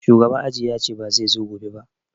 Shugaban aji yace ba zai zo gobe ba